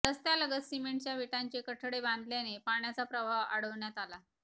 रस्त्यालगत सिमेंटच्या विटांचे कठडे बांधल्याने पाण्याचा प्रवाह अडवण्यात आला